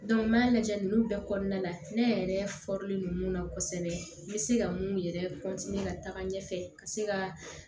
n'i y'a lajɛ ninnu bɛɛ kɔnɔna la ne yɛrɛ don mun na kosɛbɛ n bɛ se ka mun yɛrɛ ka taga ɲɛfɛ ka se ka